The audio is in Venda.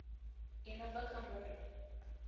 i no bva kha muri